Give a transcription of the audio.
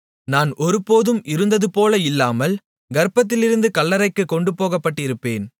நான் ஒருபோதும் இருந்ததுபோல இல்லாமல் கர்ப்பத்திலிருந்து கல்லறைக்குக் கொண்டு போகப்பட்டிருப்பேன்